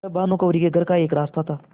वह भानुकुँवरि के घर का एक रास्ता था